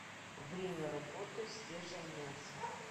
время работы свежее мясо